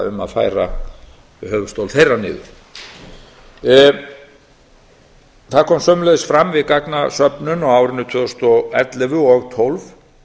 um að færa höfuðstól þeirra niður það kom sömuleiðis fram við gagnasöfnun á árinu tvö þúsund og ellefu og tvö þúsund og tólf